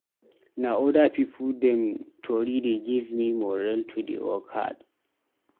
Na other pipu dem tori dey give me morale to dey work hard.